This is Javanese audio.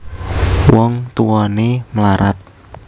Wong Tuwané mlarat